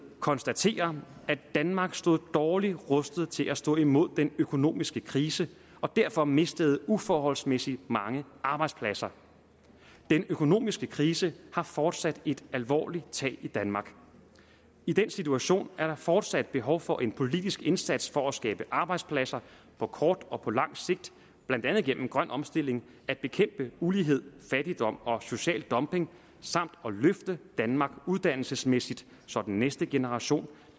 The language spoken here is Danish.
konstaterer at danmark stod dårligt rustet til at stå imod den økonomiske krise og derfor mistede uforholdsmæssigt mange arbejdspladser den økonomiske krise har fortsat et alvorligt tag i danmark i den situation er der fortsat behov for en politisk indsats for at skabe arbejdspladser på kort og på lang sigt blandt andet gennem grøn omstilling at bekæmpe ulighed fattigdom og social dumping samt at løfte danmark uddannelsesmæssigt så den næste generation